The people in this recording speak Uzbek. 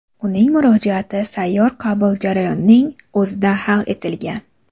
Uning murojaati sayyor qabul jarayoning o‘zida hal etilgan.